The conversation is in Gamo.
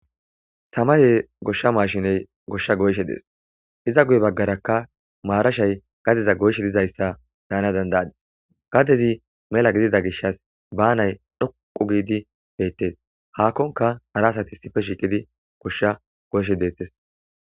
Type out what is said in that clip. Samaye goshsha maashiney goshsha goyshe dees iza guye baggarakka maarashay gadeza goyshe dizayssa daana dandayadis gadezi mela gidida gishas baanay dhoqu giidi beettes haakkonka arasati sife shiiqidi goshsha goyshe deettes.